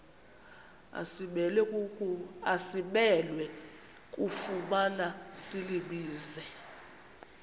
asimelwe kufumana silibize